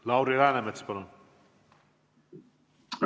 Lauri Läänemets, palun!